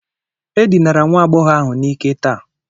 E dinara nwa agbọghọ ahụ n'ike taa.